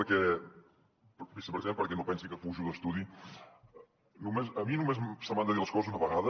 vicepresident perquè no pensi que fujo d’estudi a mi només se m’han de dir les coses una vegada